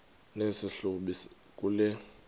nesi hlubi kule